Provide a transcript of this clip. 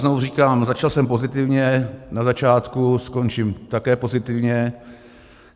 Znovu říkám, začal jsem pozitivně na začátku, skončím také pozitivně.